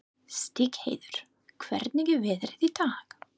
Stígheiður, hvernig er veðrið í dag?